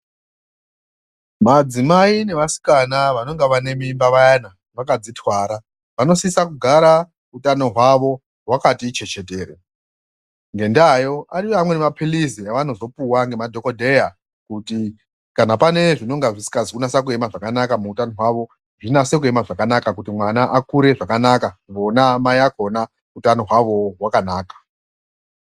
Madzimai nevasikana vanenge vanemimba vayana, vakadzitwara, vanosisa kugara utano hwavo hwakati chechetere, ngendaayo ariyowo mapilizi avanozopuwa ngemadhokodheya, kuti kana pane zvinonga zvisikazi kunasa kuyema zvakanaka muutano hwavo, zvinase kuyema zvakanaka kuti mwana akure zvakanaka ,vona mai vakona utano hwavowo hwakanaka.